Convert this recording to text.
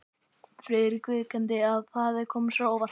Friðrik viðurkenndi, að það hefði komið sér á óvart.